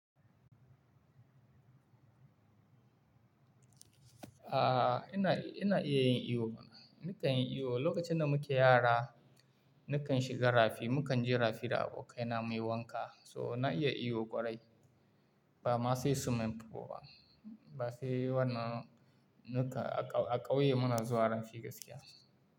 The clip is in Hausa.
Aaa ina, ina iya yin iyo mana. Ni kan yin iyo. Lokacin da mu ke yara ni kan shiga rafi, mu kan je rafi da abokaina muyi wanka. So na iya iyo ƙwarai ba ma sai swiming pool ba Ba sai wannan, ni kan a ƙauye muna zuwa rafi gaskiya.